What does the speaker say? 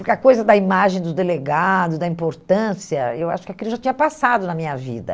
Porque a coisa da imagem do delegado, da importância, eu acho que aquilo já tinha passado na minha vida.